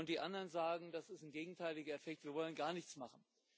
Und die anderen sagen Das ist ein gegenteiliger Effekt, wir wollen gar nichts machen.